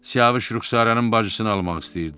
Siyavuş Rüxsarənin bacısını almaq istəyirdi.